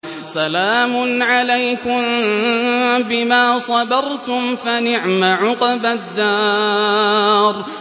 سَلَامٌ عَلَيْكُم بِمَا صَبَرْتُمْ ۚ فَنِعْمَ عُقْبَى الدَّارِ